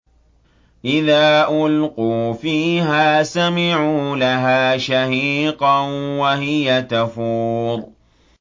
إِذَا أُلْقُوا فِيهَا سَمِعُوا لَهَا شَهِيقًا وَهِيَ تَفُورُ